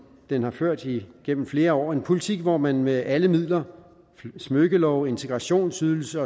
den har ført igennem flere år en politik hvor man med alle midler smykkelov integrationsydelse